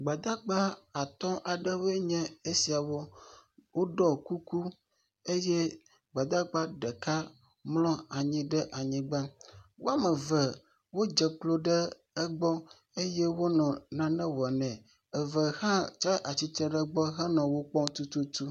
Gbadagba atɔ̃ aɖewoe nye esiawo. Woɖɔɔ kuku eye Gbadagba ɖeka mlɔ anyi ɖe anyigba. Wo ame eve wodze klo ɖe egbɔ eye wonɔ nane wɔ nɛ. Eve hã tsa atsitre ɖe wogbɔ henɔ wo kpɔm tututu